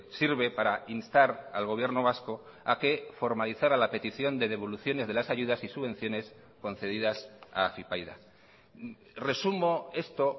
sirve para instar al gobierno vasco a que formalizara la petición de devoluciones de las ayudas y subvenciones concedidas a afypaida resumo esto